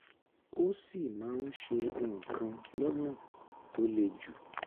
ó sì máa ń ṣe nǹkan lọ́nà tó le jù